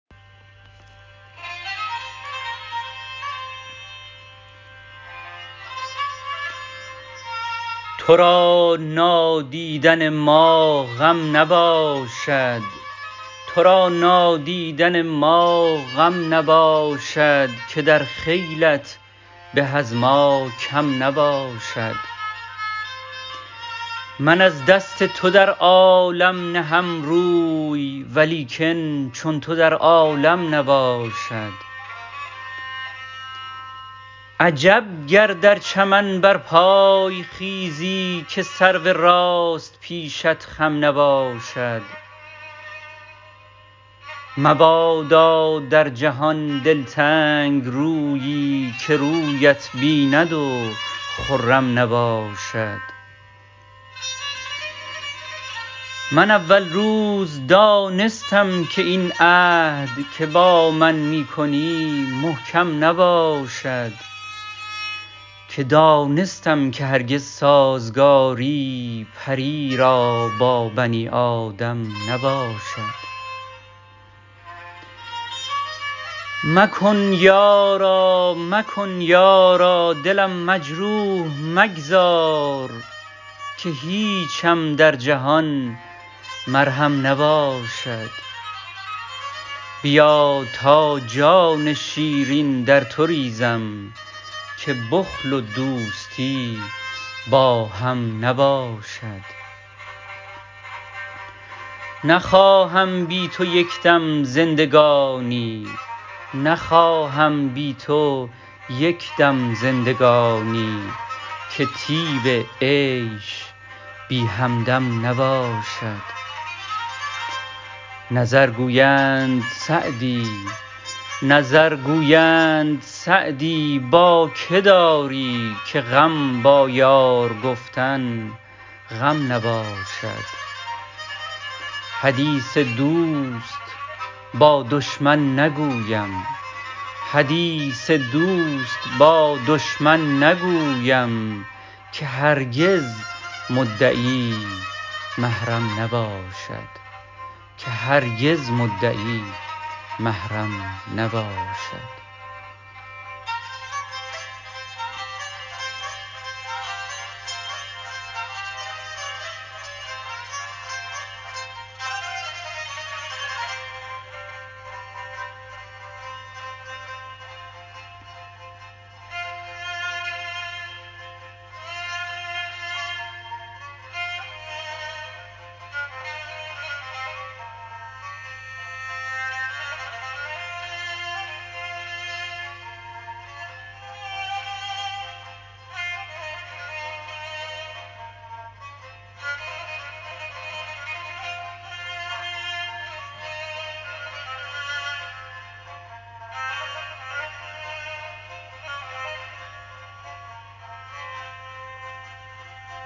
تو را نادیدن ما غم نباشد که در خیلت به از ما کم نباشد من از دست تو در عالم نهم روی ولیکن چون تو در عالم نباشد عجب گر در چمن برپای خیزی که سرو راست پیشت خم نباشد مبادا در جهان دلتنگ رویی که رویت بیند و خرم نباشد من اول روز دانستم که این عهد که با من می کنی محکم نباشد که دانستم که هرگز سازگاری پری را با بنی آدم نباشد مکن یارا دلم مجروح مگذار که هیچم در جهان مرهم نباشد بیا تا جان شیرین در تو ریزم که بخل و دوستی با هم نباشد نخواهم بی تو یک دم زندگانی که طیب عیش بی همدم نباشد نظر گویند سعدی با که داری که غم با یار گفتن غم نباشد حدیث دوست با دشمن نگویم که هرگز مدعی محرم نباشد